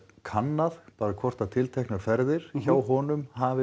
kannað hvort að tilteknar ferðir hjá honum hafi